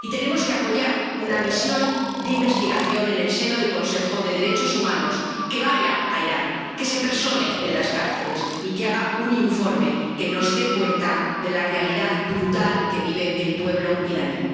Y tenemos que apoyar una misión de investigación en el seno del Consejo de Derechos Humanos que vaya a Irán, que se persone en las cárceles y que haga un informe que nos dé cuenta de la realidad brutal que vive el pueblo iraní.